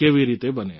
કેવી રીતે બને